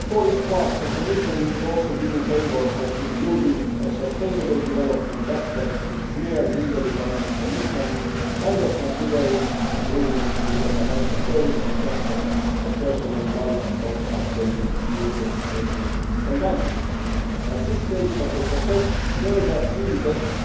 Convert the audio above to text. For its part, the Commission would also be in favour of including a sustainable development chapter with clear legally binding commitments and of considering improvements to the financial services chapter, especially in the light of updated EU legislation on banking. At this stage of the process, further in